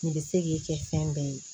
Nin bɛ se k'i kɛ fɛn bɛɛ ye